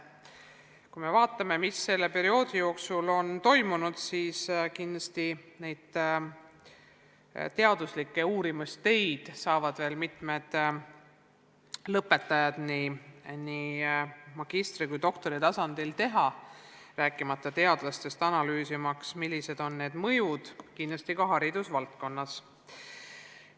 Kui vaatame, mis selle perioodi jooksul on toimunud, siis võime öelda, et selle kohta saavad teaduslikke uurimistöid teha veel mitmed lõpetajad nii magistri- kui ka doktoriõppes, rääkimata teadlastest, analüüsimaks, millised on need mõjud olnud haridusvaldkonnas.